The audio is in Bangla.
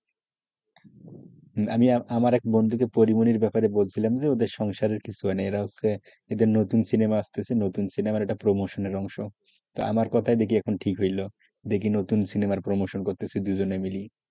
আমি আমার এক বন্ধুকে পরিমনির ব্যাপারে বলছিলাম যে ওদের সংসারের কিছু হয়নি একটা নতুন সিনেমা আসছে ওই সিনেমার প্রমোশনের অংশতা দেখি আমার কথায় এখন ঠিক হলোদেখি নতুন সিনেমার promotion করছে দুজনে মিলে,